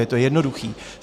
Je to jednoduché.